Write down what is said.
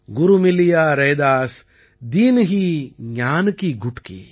குரு மிலியா ரைதாஸ் தீன்ஹீ ஞான் கீ குட்கீ